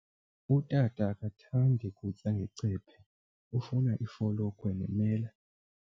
Utata akathandi kutya ngecephe, ufuna ifolokhwe nemela.